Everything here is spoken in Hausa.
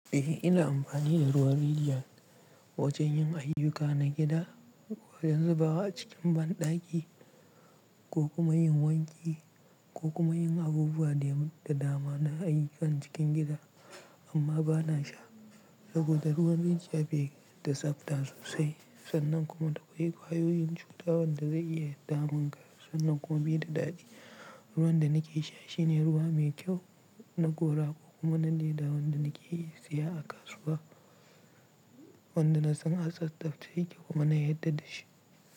Eh, ina amfani da ruwan Rijiya wajen yin ayyuka na gida, wajen zubawa a cikin banɗaki ko kuma yin wanki ko kuma yin abubuwa da dama na ayyukan cikin gida. Amma ba na sha saboda ruwan rijiya bai da tsafta sosai sannan kuma tana da ƙwayoyin cuta wanda zai iya damun ka sannan kuma bai da daɗi. Ruwan da nake sha shine ruwa mai kyau na gora ko kuma na leda wanda nake siya a kasuwa wanda na tsan a tsaftace yake kuma na yarda da shi.